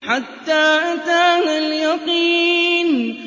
حَتَّىٰ أَتَانَا الْيَقِينُ